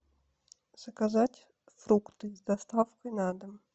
заказать фрукты с доставкой на дом